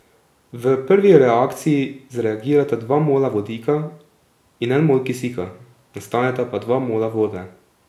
V prvi reakciji zreagirata dva mola vodika in en mol kisika, nastaneta pa dva mola vode.